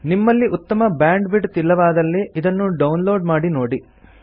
ನಿಮ್ಮಲ್ಲಿ ಉತ್ತಮ ಬ್ಯಾಂಡ್ವಿಡ್ತ್ ಇಲ್ಲವಾದಲ್ಲಿ ಇದನ್ನು ಡೌನ್ ಲೋಡ್ ಮಾಡಿ ನೋಡಿ